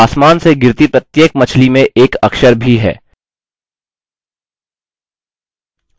आसमान से गिरती प्रत्येक मछली में एक अक्षर भी है